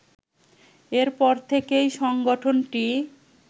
এর পর থেকেই সংগঠনটি